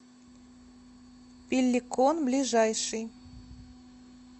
пеллекон ближайший